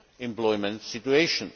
employment situation